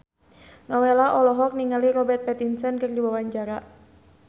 Nowela olohok ningali Robert Pattinson keur diwawancara